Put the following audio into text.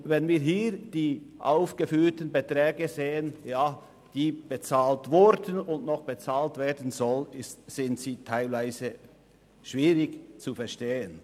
Wenn wir hier die aufgeführten Beträge sehen, die bereits bezahlt wurden und noch bezahlt werden sollen, sind diese teilweise schwierig nachzuvollziehen.